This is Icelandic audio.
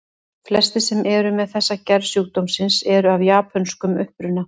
Flestir sem eru með þessa gerð sjúkdómsins eru af japönskum uppruna.